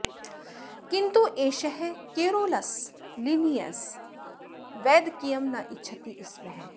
किन्तु एषः Carolus Linnaeus वैद्यकीयं न इच्छति स्म